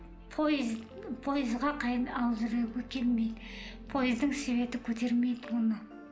пойыз пойызға алып жүруге келмейді пойыздың светі көтермейді оны